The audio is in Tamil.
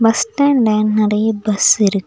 பஸ் ஸ்டாண்ட்ல நெறைய பஸ்ஸிருக்கு .